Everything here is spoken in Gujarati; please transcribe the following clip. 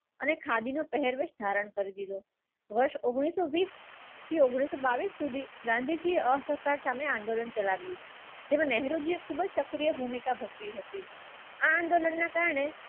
અને ખાદી નો પહેરવો ધારણ કરી હતો વર્ષ ઉંગ્નીસ સો બીસ થી ઉંગ્નીસ સો બાઇસ સુધી ગાંધીજી અસહકાર સામે આંદોલન ચલાવ્યું. તેમ નહેરો જે ખૂબ જ સક્રિય ભૂમિકા ભજવી હતી આ આંદોલન ના કારણે